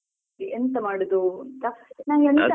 ಎಂತ ಮಾಡುದು ಅಂತ ನಂಗೆ .